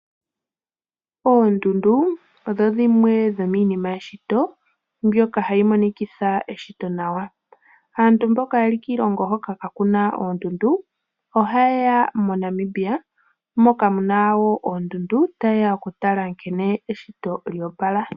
Oondundu odho dhimwe yoomina yeshito mbyoka ha yi monikitha eshito nawa. Aantu mboka ye li kiilongo hoka kaaku na oondundu ohaye ya moNamibia moka mu na oondundu, taye ya okutala nkene eshito lya opala.